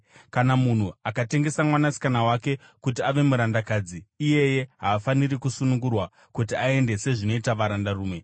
“Kana munhu akatengesa mwanasikana wake kuti ave murandakadzi, iyeye haafaniri kusunungurwa kuti aende sezvinoita varandarume.